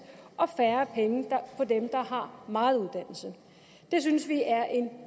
og færre penge på dem der har meget uddannelse det synes vi er en